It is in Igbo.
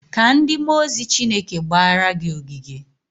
Kaa ndị mmụọ ozi Chineke gbara gị ogige.